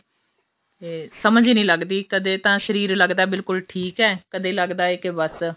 ਸਮਝ ਹੀ ਨਹੀਂ ਲੱਗਦੀ ਕਦੇ ਤਾਂ ਸ਼ਰੀਰ ਲੱਗਦਾ ਬਿਲਕੁਲ ਠੀਕ ਏ ਕਦੇ ਲੱਗਦਾ ਏ ਬਸ